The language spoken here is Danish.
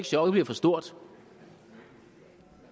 chokket bliver for stort